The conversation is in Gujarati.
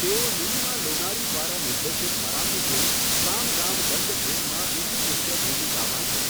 તેઓ નીલિમા લોનારી દ્વારા નિર્દેશિત મરાઠી ફિલ્મ સામ દામ દંડ ભેદમાં બીજી મુખ્ય ભૂમિકામાં છે.